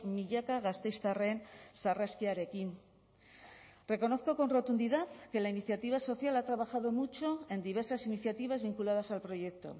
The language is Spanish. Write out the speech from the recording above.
milaka gasteiztarren sarraskiarekin reconozco con rotundidad que la iniciativa social ha trabajado mucho en diversas iniciativas vinculadas al proyecto